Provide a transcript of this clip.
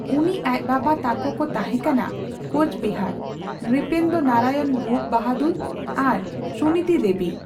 ᱩᱱᱤ ᱟᱡ ᱵᱟᱵᱟ ᱛᱟᱠᱳ ᱠᱚ ᱛᱟᱦᱮᱸ ᱠᱟᱱᱟ ᱠᱳᱪᱵᱤᱦᱟᱨ ᱱᱨᱤᱯᱮᱱᱫᱨᱚ ᱱᱟᱨᱟᱭᱚᱱ ᱵᱷᱩᱯ ᱵᱟᱦᱟᱫᱩᱨ ᱟᱨ ᱥᱩᱱᱤᱛᱤ ᱫᱮᱵᱤ ᱾